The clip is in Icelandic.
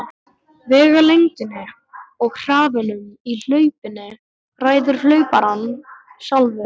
Vegalengdinni og hraðanum í hlaupinu ræður hlauparinn sjálfur.